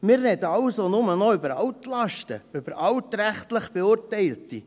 Wir reden also nur noch über Altlasten, über altrechtlich Beurteilte.